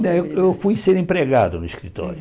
Não eu fui ser empregado no escritório.